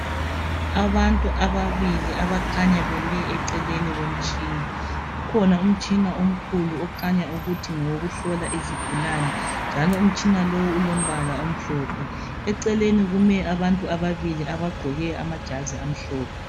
abantu ababili abakhanya beme eceleni komtshina ukhonaumtshina omkhulu okhanya ukuthi ngowokuhlola izigulane njalo umtshina lo ulompala omhlophe eceleni kume abantu ababili abagqoke amajazi amhlophe